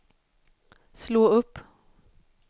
slå upp